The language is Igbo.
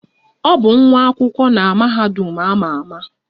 Ọ bụ nwa akwụkwọ na mahadum a ma ama.